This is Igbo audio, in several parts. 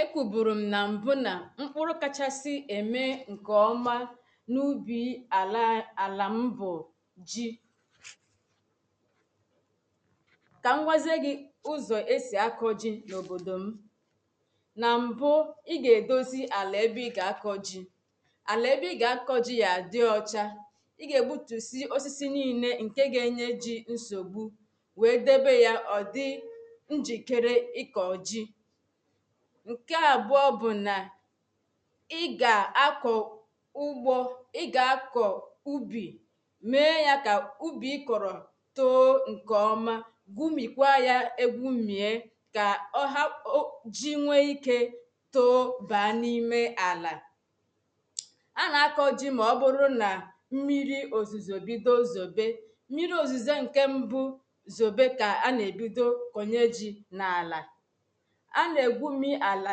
Ekwuburu m na mbụ na mkpụrụ kachasị eme nke ọma n'ubi ala ala m bụ ji Ka m gwazie gị ụzọ e si akọ ji n'obodo m na mbụ, ị ga-edozi ala ebe ị ga-akọ ji. ala ebe ị ga-akọ ji ga-adị ọcha Ị ga-egbutusi osisi niile nke ga-enye ji nsogbu wee debe ya ọ dị njikere ịkọ ji nke abụọ bụ na ị ga-akọ ugbo ị ga-akọ ubi mee ya ka ubi i kọrọ too nke ọma gumikwaa ya egumie ka ọ hapụ ka ji nwee ike too baa n'ime ala... A na-akọ ji ma ọ bụrụ na mmiri ozuzu bido zobe Mmiri ozizo nke mbụ zobe ka a na-ebido kọnye ji n'ala A na-egumi ala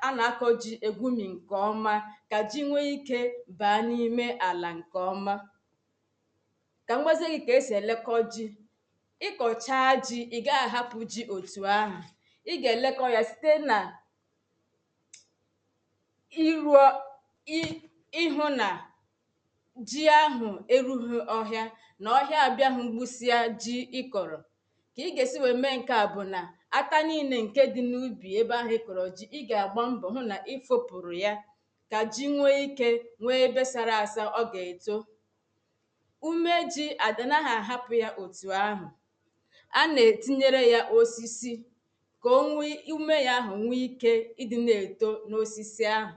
a na-akọ ji egumi nke ọma ka ji nwee ike baa n'ime ala nke ọma Ka m gwazie gị ka e si elekọ ji Ị kọchaa ji ị gaghị ahapụ ji etu ahụ Ị ga-elekọ ya site na ịrụ i ịhụ na ji ahụ erughị ọhịa na ọhịa abịaghị gbusịa ji i kọrọ ị ga-esi mee nke a bụ na ata niile nke dị n'ubi ebe ahụ ị kọrọ ji, ị ga-agba mbọ hụ na i fopụrụ ya ka ji nwee ike nʷee ebe sara asa ọ ga-eto ume ji anaghị ahapụ ya etu ahụ a na-etinye ya osisi ka ume ya ahụ nwee ike ịdị na-eto n'osisi ahụ